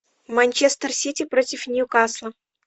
манчестер сити против ньюкасла